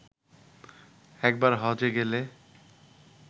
একবার হজ্বে গেলে